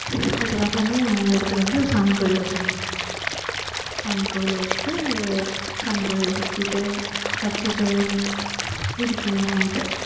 செவ்வாய்க்கிழமையே எடுத்துட்டு வந்து சாமி கோவில்ல வச்சிடணும் சாமி கோவில்ல வச்சிட்டு சாமி கோவில்ல சுத்திட்டு வச்சிட்டு வீட்டுக்கு போயிடுவோம் night டு